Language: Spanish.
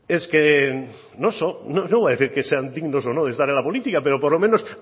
es que no no voy a decir que sean dignos o no de estar en la política pero por lo menos